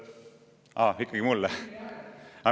Aa, ikkagi mulle.